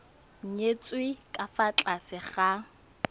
nyetswe ka fa tlase ga